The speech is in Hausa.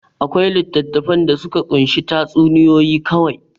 Akwai littattafan da suka kunshi tatsuniyoyi kawai.